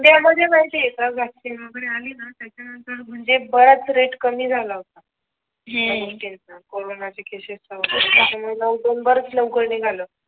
India मध्ये माहिती आहे का वैक्सीन वैगेरे आली ना त्याच्या नंतर म्हणजे बराच रेट कमी झाला होता कोरोना च्या केसेस चा वैगेरे त्याच्या मुळे लोकडाऊन बराच लवकरच निघालं